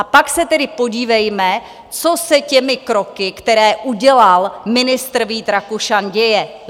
A pak se tedy podívejme, co se těmi kroky, které udělal ministr Vít Rakušan, děje.